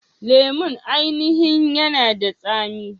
Lemon ainihin yanada tsami.